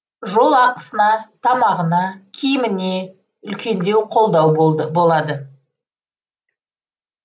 жол ақысына тамағына киіміне үлкен қолдау болады